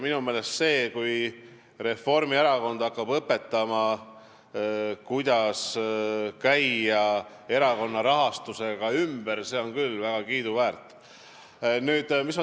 Minu meelest see, kui Reformierakond hakkab õpetama, kuidas käia ümber erakonna rahastusega, on küll väga kiiduväärt.